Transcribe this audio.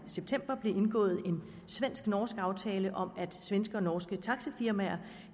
i september blev indgået en svensk norsk aftale om at svenske og norske taxifirmaer